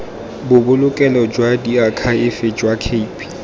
bobolokelo jwa diakhaefe jwa cape